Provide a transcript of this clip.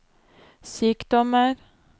sykdommer